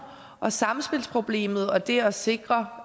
og samspilsproblemet og det at sikre